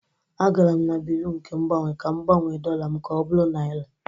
A gara m na Bịrụ nke Mgbanwe ka m gbanwee dollar m ka ọ bụrụ naira